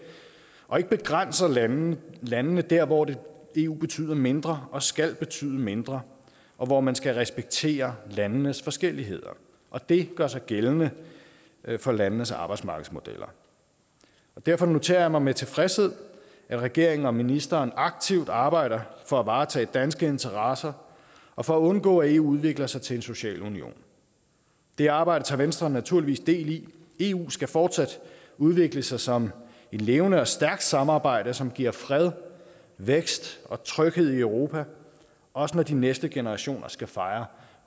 og ikke begrænser landene landene der hvor eu betyder mindre og skal betyde mindre og hvor man skal respektere landenes forskelligheder og det gør sig gældende for landenes arbejdsmarkedsmodeller derfor noterer jeg mig med tilfredshed at regeringen og ministeren aktivt arbejder for at varetage danske interesser og for at undgå at eu udvikler sig til en social union det arbejde tager venstre naturligvis del i eu skal fortsat udvikle sig som et levende og stærkt samarbejde som giver fred vækst og tryghed i europa også når de næste generationer skal fejre